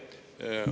Aitäh!